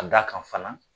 Ka d'a kan fana